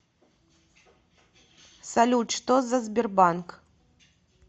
салют что за сбербанк